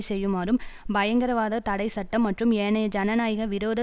செய்யுமாறு பயங்கரவாதத் தடை சட்டம் மற்றும் ஏனைய ஜனநாயக விரோத